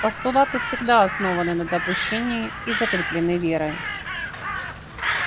постулаты всегда основаны на допущении и закреплены верой